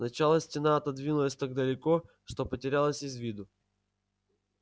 сначала стена отодвинулась так далеко что потерялась из виду